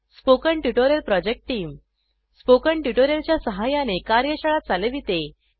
spoken tutorial project team spoken tutorial च्या सहाय्याने कार्यशाळा चालविते